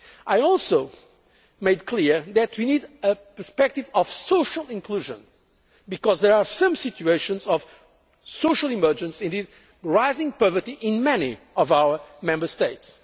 I also made clear that we need a perspective of social inclusion because there are some situations of social emergency, and indeed rising poverty, in many of our Member